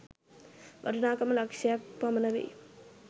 වටිනාකම ලක්‍ෂ ක් පමණ වෙයි